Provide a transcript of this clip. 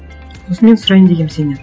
сосын мен сұрайын дегенмін сенен